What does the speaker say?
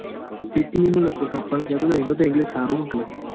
અ PTE ની લગભગ આપવાની કેતો તો એને તો english હારું હે હું કે.